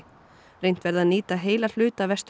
reynt verði að nýta heila hluta